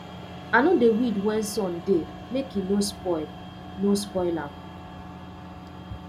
i no dey weed when sun dey make e no spoil no spoil am